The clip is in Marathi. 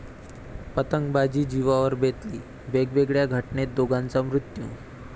पतंगबाजी जिवावर बेतली, वेगवेगळ्या घटनेत दोघांचा मृत्यू